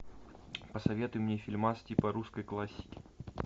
посоветуй мне фильмас типа русской классики